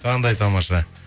қандай тамаша